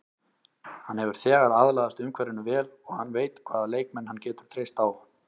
Hann hefur þegar aðlagast umhverfinu vel og hann veit hvaða leikmenn hann getur treyst á.